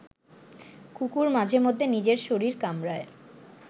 কুকুর মাঝেমধ্যে নিজের শরীর কামড়ায়